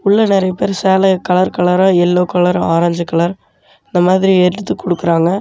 உள்ள நெறைய பேரு சேலய கலர் கலரா எல்லோ கலர் ஆரஞ்சு கலர் இந்த மாதிரி எடுத்துக் குடுக்குறாங்க.